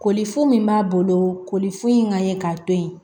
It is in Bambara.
Kolifo min b'a bolo koli foyi kan ye k'a to ye